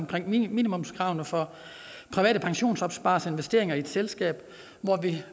gælder minimumskravene for private pensionsopspareres investering i ét selskab